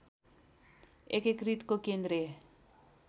एकीकृतको केन्द्रीय